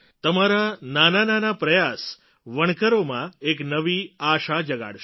તમારા નાનાનાના પ્રયાસ વણકરોમાં એક નવી આશા જગાડશે